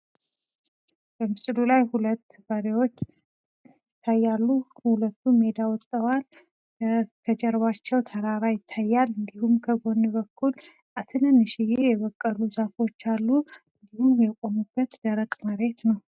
በምስሉ ላይ ሁለት በሬዎች ይታያሉ፤ ሁለቱም ሜዳ ወጥተዋል ፣ ከጀርባቸዉ ተራራ ይታያል፣ እንዲሁም ከጎን በኩል፣ ትንንሽየ የበቀሉ ዛፎች አሉ፤ እንዲሁም የቆሙበት ደረቅ መሬት ነው።